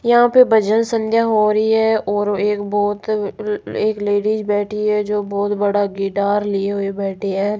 यहां पे भजन संध्या हो रही है और एक बहोत अ एक लेडिस बैठी है जो बहोत बड़ा गिटार लिए हुए बैठी है।